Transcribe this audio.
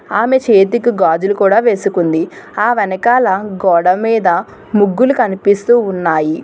ఆమె చేతికి గాజులు కూడా వేసుకుంది ఆ వెనకాల గోడ మీద ముగ్గులు కనిపిస్తూ ఉన్నాయి.